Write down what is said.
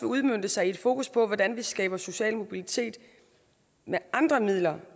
udmønte sig i et fokus på hvordan vi skaber social mobilitet med andre midler